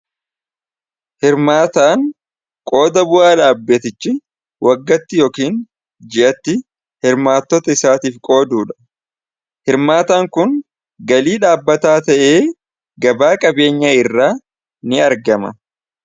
hirmaataan qooda bu'aa dhaabbatichi waggatti yookiin ji'atti hirmaatota isaatiif qooduu dha hirmaataan kun galii dhaabbataa ta'ee gabaa qabeenyaa irraa ni argama